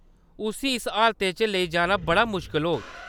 उस्सी इस हालतै च लेई जाना बड़ा मुश्कल होग।